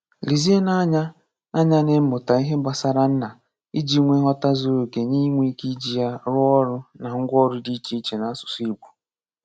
Lezienụ anya anya n'ịmụta ihe gbasara nna iji nwee nghọta zuru oke na inwe ike iji ya rụọ ọrụ na ngwaọrụ dị iche iche n’asụsụ Igbo.